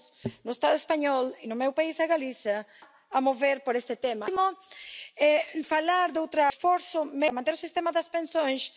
Ce scénario noir, nous nous battrons avec détermination pour que jamais il ne soit appliqué en France.